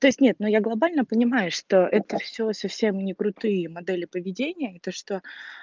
то есть нет но я глобально понимаю что это всё совсем не крутые модели поведения и то что